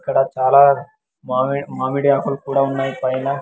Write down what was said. ఇక్కడ చాలా మామిడ్ -- మామిడి ఆకులు కూడా ఉన్నాయి పైన.